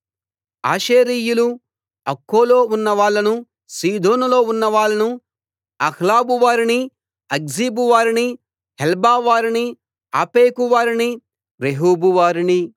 ఆషేరీయులు అక్కోలో ఉన్నవాళ్ళను సీదోనులో ఉన్నవాళ్ళను అహ్లాబు వారిని అక్జీబు వారిని హెల్బావారిని అఫెకు వారిని రెహోబు వారిని